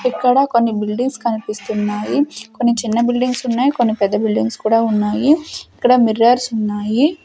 ఇక్కడ కొన్ని బిల్డింగ్స్ కనిపిస్తున్నాయి కొన్ని చిన్న బిల్డింగ్స్ ఉన్నాయి కొన్ని పెద్ద బిల్డింగ్స్ కూడా ఉన్నాయి ఇక్కడ మిర్రర్స్ ఉన్నాయి.